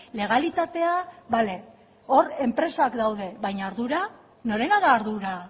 legalitatea bale hor enpresak daude baina ardura norena da ardura